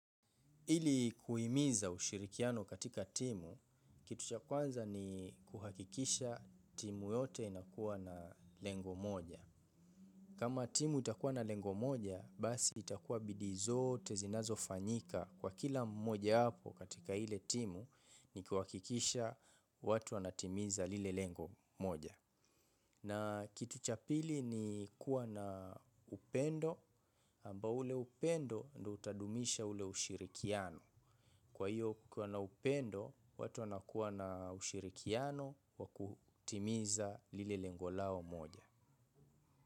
Ili kuimiza ushirikiano katika timu, kitu cha kwanza ni kuhakikisha timu yote inakuwa na lengo moja. Kama timu itakuwa na lengo moja, basi itakuwa bidii zote zinazofanyika kwa kila mmojawapo katika ile timu ni kuhakikisha watu wanatimiza lile lengo moja. Na kitu cha pili ni kuwa na upendo, ambao ule upendo ndo utadumisha ule ushirikiano. Kwa hiyo kukua na upendo, watu wanakuwa na ushirikiano wa kutimiza lile lengo lao moja.